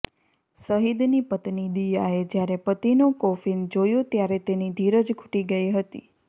શહીદની પત્ની દિયાએ જયારે પતિનું કોફીન જોયું ત્યારે તેની ધીરજ ખૂટી ગઈ હતી